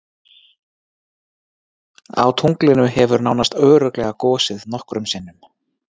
Á tunglinu hefur nánast örugglega gosið nokkrum sinnum.